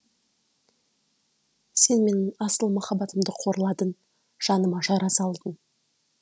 сен менің асыл махаббатымды қорладың жаныма жара салдың